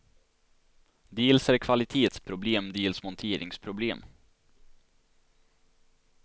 Dels är det kvalitetsproblem, dels monteringsproblem.